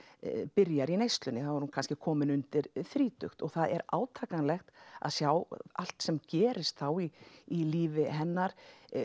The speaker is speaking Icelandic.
byrjar í neyslunni þá er hún kannski komin undir þrítugt og það er átakanlegt að sjá allt sem gerist þá í í lífi hennar